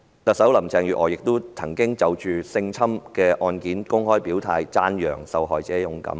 特首林鄭月娥亦曾就性侵事件公開表態，讚揚受害者勇敢。